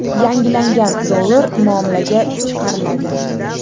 Yangilangan dollar muomalaga chiqariladi.